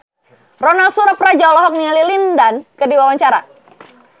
Ronal Surapradja olohok ningali Lin Dan keur diwawancara